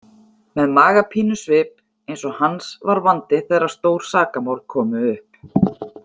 Með magapínusvip eins og hans var vandi þegar stór sakamál komu upp.